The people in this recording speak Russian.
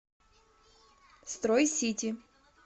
строй сити